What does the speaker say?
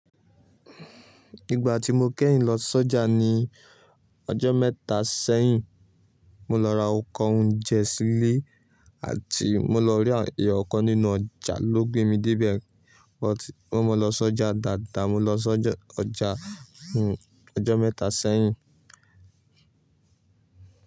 Ìgbà tí mo kẹ́yìn lọ s'ọ́jà ní ọjọ́ mẹ́ta sẹ́yìn, mo lọ ra nkan ounnjẹ sílé àti mo lọ rí àwọn èèyàn kan nínú ọjà ló gbé mi dé ibẹ̀, wọ́n mọ́ lọ s'ọ́jà dáadáa, mo lọ s'ọ́jà ọjọ́ mẹ́ta sẹ́yìn.